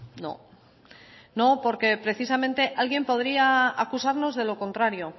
no no porque precisamente alguien podría acusarnos de lo contrario